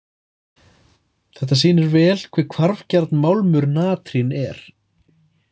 Þetta sýnir vel hve hvarfgjarn málmur natrín er.